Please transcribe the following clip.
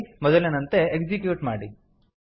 ಮೊದಲಿನಂತೆ ಎಕ್ಸಿಕ್ಯೂಟ್ ಮಾಡಿ